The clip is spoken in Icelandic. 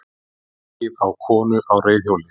Ekið á konu á reiðhjóli